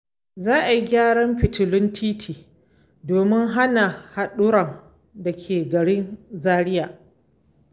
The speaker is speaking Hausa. Za a gyara fitilun titi domin hana haɗurran dare a garin Zaria.